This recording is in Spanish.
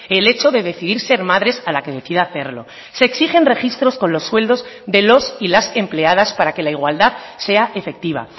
el hecho de decidir ser madres a la que decida hacerlo se exigen registros con los sueldos de los y las empleadas para que la igualdad sea efectiva